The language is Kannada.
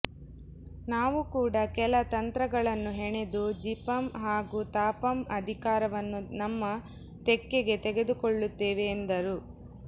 ನಾವು ಕೂಡ ಕೆಲ ತಂತ್ರಗಳನ್ನು ಹೆಣೆದು ಜಿಪಂ ಹಾಗೂ ತಾಪಂ ಅಧಿಕಾರವನ್ನು ನಮ್ಮ ತೆಕ್ಕೆಗೆ ತೆಗೆದುಕೊಳ್ಳುತ್ತೇವೆ ಎಂದರು